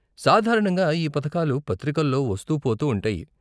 సాధారణంగా ఈ పథకాలు పత్రికల్లో వస్తూ పోతూ ఉంటాయి.